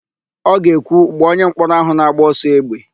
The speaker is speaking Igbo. Ọ ga-ekwu, "gbaa onyemkpọrọ áhụ̀ na-agba ọsọ égbè"!